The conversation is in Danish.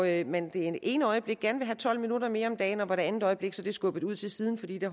at man det ene øjeblik gerne vil have tolv minutter mere om dagen og det andet øjeblik er det skubbet til side fordi det